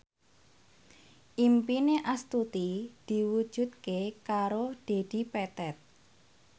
impine Astuti diwujudke karo Dedi Petet